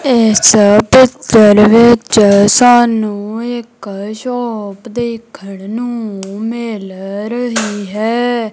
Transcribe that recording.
ਇਸ ਪਿਚਰ ਵਿੱਚ ਸਾਨੂੰ ਇੱਕ ਸ਼ੋਪ ਦੇਖਣ ਨੂੰ ਮਿਲ ਰਹੀ ਹੈ।